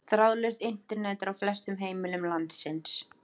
þráðlaust internet er á flestum heimilum landsins